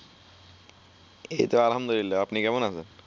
এইত আলহামদুলিল্লাহ আপনি কেমন আছেন?